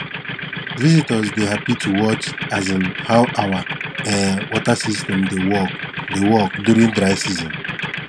visitors dey happy to watch um how our um water system dey work dey work during dry season